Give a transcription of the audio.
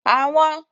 Àwọn